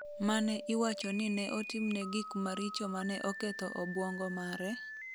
mane iwacho ni ne otimne gik maricho ma ne oketho obwongo mare,